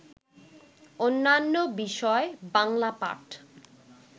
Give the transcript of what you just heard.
অন্যান্য বিষয় বাংলা পাঠ